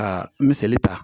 Ka misali ta